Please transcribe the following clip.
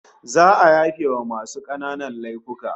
Za'a yafewa masu kananan laifuka